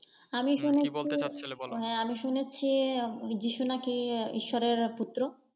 আমি শুনেছি আমি শুনেছি যীশু নাকি ঈশ্বরের পুত্র।